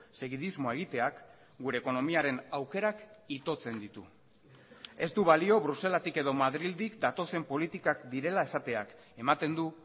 segidismoa egiteak gure ekonomiaren aukerak itotzen ditu ez du balio bruselatik edo madrildik datozen politikak direla esateak ematen du